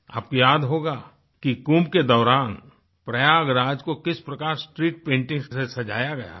आपको याद होगा कि कुंभ के दौरान प्रयागराज को किस प्रकार स्ट्रीट पेंटिंग्स से सजाया गया था